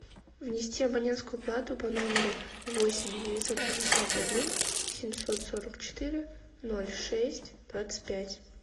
внести абонентскую плату по номеру восемь девятьсот пятьдесят один семьсот сорок четыре ноль шесть двадцать пять